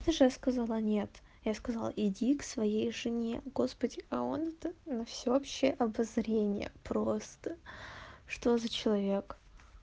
ты же сказала нет я сказал иди к своей жене господи а он это на всеобщее обозрение просто что за человек